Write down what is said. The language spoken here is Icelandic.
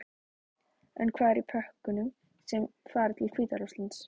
En hvað er í pökkunum sem fara til Hvíta-Rússlands?